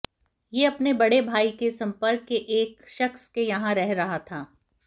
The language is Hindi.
ये अपने बड़े भाई के संपर्क के एक शख्स के यहां रह रहा था